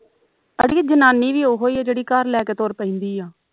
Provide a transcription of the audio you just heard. ਅੜੀਏ ਜਨਾਨੀ ਵੀ ਉਹੀ ਆ ਜਿਹੜੀ ਘਰ ਲੈ ਕੇ ਤੁਰ ਪੈਂਦੀ ਆ